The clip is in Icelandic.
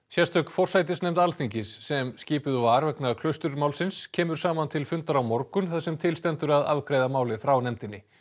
sérstök forsætisnefnd Alþingis sem skipuð var vegna Klausturmálsins kemur saman til fundar á morgun þar sem til stendur að afgreiða málið frá nefndinni